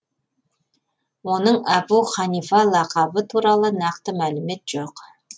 оның әбу ханифа лақабы туралы нақты мәлімет жоқ